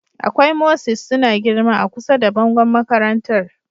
Akwai mosses suna girma a kusa da bangon makarantar